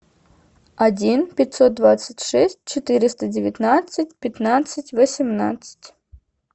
один пятьсот двадцать шесть четыреста девятнадцать пятнадцать восемнадцать